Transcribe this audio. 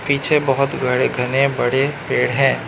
पीछे बहोत बड़े घने बड़े पेड़ हैं।